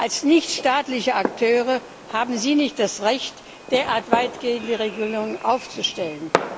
Als nicht staatliche Akteure haben sie nicht das Recht, derart weitgehende Regelungen aufzustellen.